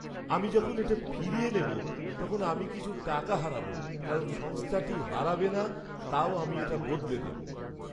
আমি যখন এটা ফিরিয়ে নেব তখন আমি কিছু টাকা হারাব কারণ সংস্থাটি হারাবে না, তাও আমি এটা বদলে দেব।